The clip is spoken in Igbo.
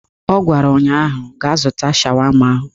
Ọ gwara ụnyaahụ "Gaa zụta shawama ahụ"